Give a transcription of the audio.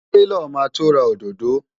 Taylor máa to ra òdòdó.